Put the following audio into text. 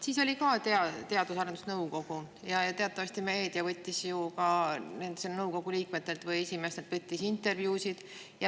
Siis oli ka Teadus- ja Arendusnõukogu ja teatavasti meedia võttis nõukogu liikmetelt või esimeestelt intervjuusid.